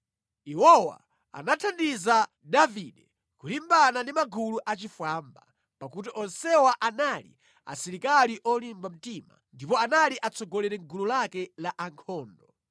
Iwowa anathandiza Davide kulimbana ndi magulu achifwamba, pakuti onsewa anali asilikali olimba mtima ndipo anali atsogoleri mʼgulu lake la ankhondo.